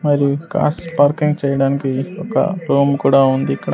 మరియు cars parking చేయడానికి ఒక రూమ్ కూడా ఉంది ఇక్కడ.